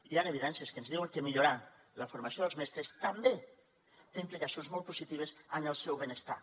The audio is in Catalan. hi han evidències que ens diuen que millorar la formació dels mestres també té implicacions molt positives en el seu benestar